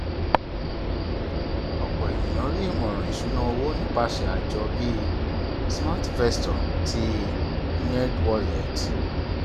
ọpọ ènìyàn rí ìmọràn ìṣúnná owó nípasẹ àjọ bí smartvestor ti nerdwallet